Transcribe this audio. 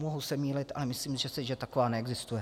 Mohu se mýlit, ale myslím si, že taková neexistuje.